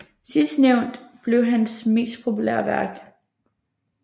Sidstnævnte blev hans mest populære værk